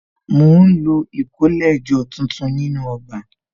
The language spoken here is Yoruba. Mo ń lo ìkólẹ̀jọ tuntun nínú ọgbà